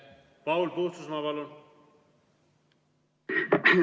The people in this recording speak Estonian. Paul Puustusmaa, palun!